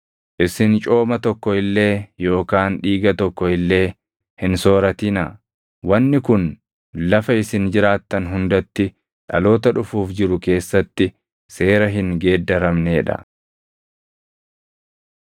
“ ‘Isin cooma tokko illee yookaan dhiiga tokko illee hin sooratinaa; wanni kun lafa isin jiraattan hundatti dhaloota dhufuuf jiru keessatti seera hin geeddaramnee dha.’ ”